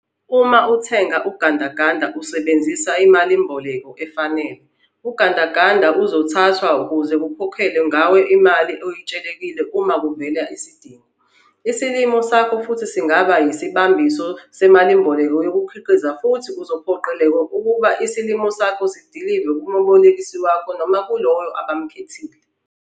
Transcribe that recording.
Uma uthenga ugandaganda usebenzisa imalimboleko efanele, ugandaganda uzothathwa ukuze kukhokhelwe ngawo le mali oyetshelekile uma kuvela isidingo. Isilimo sakho futhi singaba yisibambiso semalimboleko yokukhiqiza futhi uzophoqeleka ukuba isilimo sakho usidilive kumebolekisi wakho noma kuloyo abamkhethile.